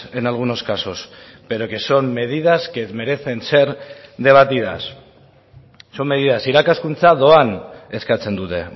en algunos casos pero que son medidas que merecen ser debatidas son medidas irakaskuntza doan eskatzen dute